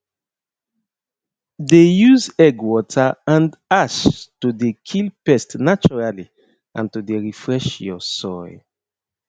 dey use egg water and ash to dey kill pest naturally and to dey refresh your soil